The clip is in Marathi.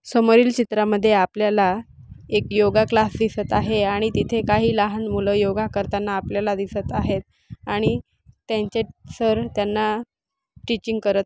समोरील चित्रांमध्ये आपल्याला एक योगा क्लास दिसत आहे आणि तिथे काही लहान मुलं योगा करताना आपल्याला दिसत आहेत आणि त्यांचे सर त्यांना टीचिंग करत--